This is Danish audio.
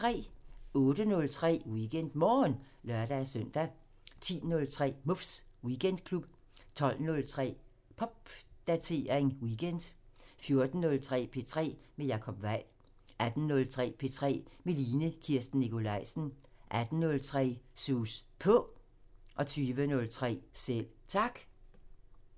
08:03: WeekendMorgen (lør-søn) 10:03: Muffs Weekendklub 12:03: Popdatering weekend 14:03: P3 med Jacob Weil 16:03: P3 med Line Kirsten Nikolajsen 18:03: Sus På 20:03: Selv Tak